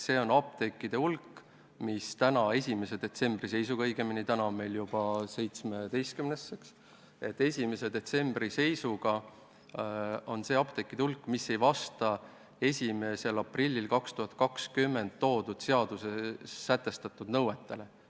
See on see apteekide hulk, mis tänase, 1. detsembri seisuga – täna on meil õigemini juba 17. detsember – ei vasta 1. aprillil 2020 jõustuvatele seaduses sätestatud nõuetele.